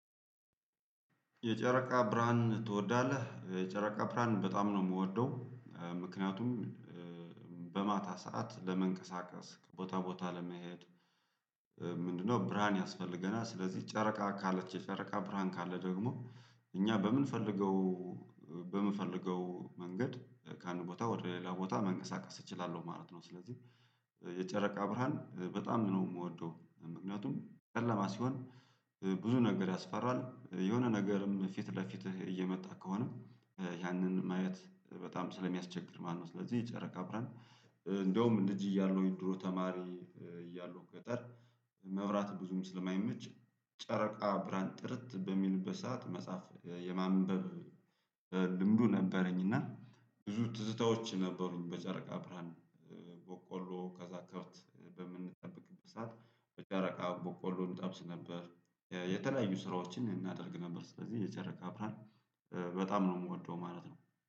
የጨረቃ ብርሃን ትወዳለህ የጨረቃ ብርሃን በጣም ነው እምወደው። ምክንያቱም በማታ ሰዓት ለመንቀሳቀስ ቦታ ቦታ ለመሄድ። ምንድነው ብርሃን ያስፈልገናል። ስለዚህ ጨረቃ ካለች የጨረቃ ብርሃን ካለ ደግሞ እኛ በእምንፈልገው በእምንፈልገው መንገድ ከአንድ ቦታ ወደ ሌላ ቦታ መንቀሳቀስ እችላለሁ ማለት ነው። ስለዚህ የጨረቃ ብርሃን በጣም ነው እምወደው። ምክንያቱም ጨለማ ሲሆን ብዙ ነገር ያስፈራል የሆነ ነገርም ፊት ለፊትህ እየመጣ ከሆነ ያንን ማየት በጣም ስለሚያስቸግር ማለት ነው። ስለዚህ የጨረቃ ብረን እንደውም ልጅ እያለው ድሮ ተማሪ እያለሁ ገጠር መብራት ብዙም ስለማይመች ጨረቃ ብርሃን ጥርት በሚልበት ሰዓት መጽሐፍ የማንበብ ልምዱ ነበረኝ። እና ብዙ ትዝታዎች ነበሩኝ። በጨረቃ ብርሃን ቦቆሎ ከዛ ከብት በምንጠብቅበት ሰዓት በጨረቃ ቦቆሎ እንጠብስ ነበር። የተለያዩ ስራዎችን እናደርግ ነበር። ስለዚህ የጨረቃ አብራር በጣም ነው እምወደው ማለት ነው